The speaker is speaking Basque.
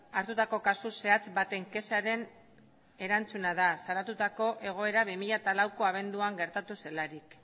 hartutako kasu zehatz baten kexaren erantzuna da salatutako egoera bi mila lauko abenduan gertatu zelarik